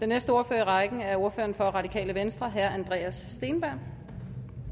næste ordfører i rækken er ordføreren for radikale venstre herre andreas steenberg